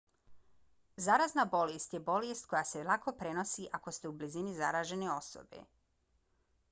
zarazna bolest je bolest koja se lako prenosi ako ste u blizini zaražene osobe